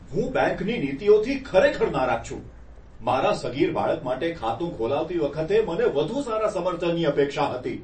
હું બેંકની નીતિઓથી ખરેખર નારાજ છું. મારા સગીર બાળક માટે ખાતું ખોલાવતી વખતે મને વધુ સારા સમર્થનની અપેક્ષા હતી.